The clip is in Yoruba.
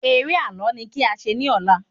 Eré ààlọ́ ni kí a ṣe ní ọ̀la